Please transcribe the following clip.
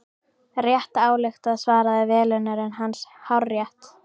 Rétt ályktað svaraði velunnari hans, hárrétt.